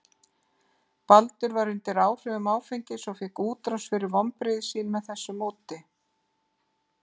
Baldur var undir áhrifum áfengis og fékk útrás fyrir vonbrigði sín með þessu móti.